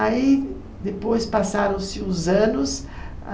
Aí, depois passaram-se os anos.